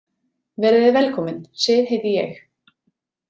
Verið þið velkomin, Sif heiti ég.